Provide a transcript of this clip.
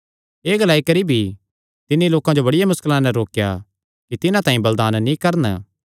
एह़ ग्लाई करी भी तिन्नी लोकां जो बड़िया मुस्कला नैं रोकेया कि तिन्हां तांई बलिदान नीं करन